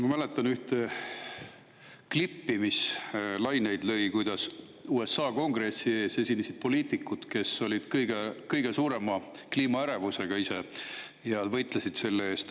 Ma mäletan ühte klippi, mis lõi laineid, kus USA Kongressi ees esinesid poliitikud, kes olid ise kõige suurema kliimaärevusega ja võitlesid selle eest.